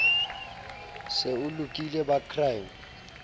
se o lokile ba crime